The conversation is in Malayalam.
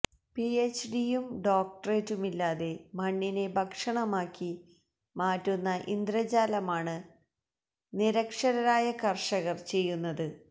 പിഎച്ച്ഡിയും ഡോക്ടറേറ്റുമില്ലാതെ മണ്ണിനെ ഭക്ഷണമാക്കി മാറ്റുന്ന ഇന്ദ്രജാലമാണ് നിരക്ഷരരായ കര്ഷകര് ചെയ്യുന്നത്